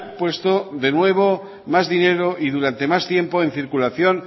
puesto de nuevo más dinero y durante más tiempo en circulación